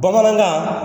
Bamanankan